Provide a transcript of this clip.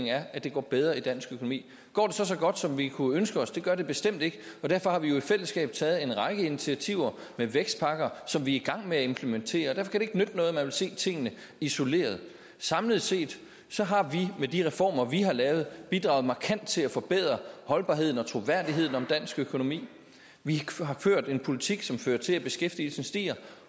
er at det går bedre i dansk økonomi går det så så godt som vi kunne ønske os det gør det bestemt ikke og derfor har vi jo i fællesskab taget en række initiativer med vækstpakker som vi er i gang med at implementere derfor kan det ikke nytte noget at man vil se tingene isoleret samlet set har vi med de reformer vi har lavet bidraget markant til at forbedre holdbarheden og troværdigheden dansk økonomi vi har ført en politik som fører til at beskæftigelsen stiger